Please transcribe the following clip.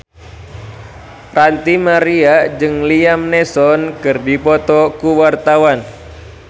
Ranty Maria jeung Liam Neeson keur dipoto ku wartawan